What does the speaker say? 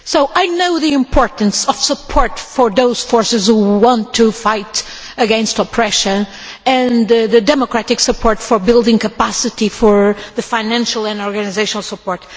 So I know the importance of support for those forces who want to fight against oppression and of democratic support for building capacity for the financial and organisational support.